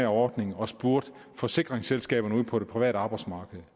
ordning og spurgte forsikringsselskaberne ude på det private arbejdsmarked